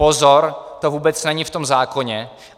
Pozor - to vůbec není v tom zákoně.